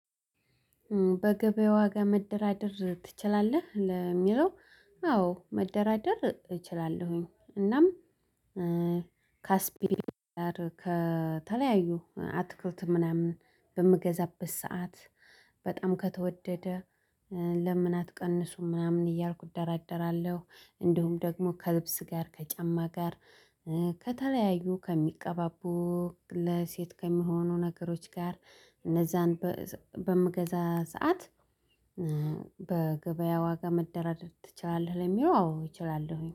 በገብያ ዋጋ መደራደር ትችላለህ ለሚለው? አዎ መደራደር እችላለሁኝ እናም እእ ከስፒር ከተለያዩ አትክልት ምናምን በምገዛበት ሰዓት በጣም ከተወደደ እ ለምን አትቀንሱም ምናምን እያልኩ እደራደራለሁ። እንዲሁም ደግሞ ከልብስ ጋር ከጫማ ጋር እ ከተለያዩ ከሚቀባቡ ለሴት ከሚሆኑ ነገሮች ጋር እነዛን በእዛ በምገዛ ሰዓት። በገበያ ዋጋ መደራደር ትችላለህ ለሚለው? አዎ እችላለሁኝ